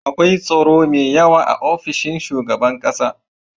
akwai tsaro me yawa a ofishin shugaban ƙasar